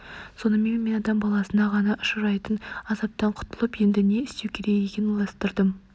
сонымен мен адам баласы ғана ұшырайтын азаптан құтылып енді не істеу керек екенін ойластырдым